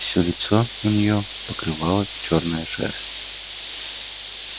всё лицо у неё покрывала чёрная шерсть